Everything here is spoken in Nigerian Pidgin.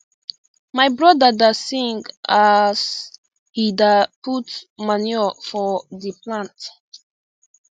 my brother da sing aas he da put manure for the plant